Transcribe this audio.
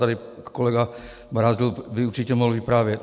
Tady kolega Brázdil by určitě mohl vyprávět.